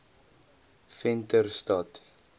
venterstad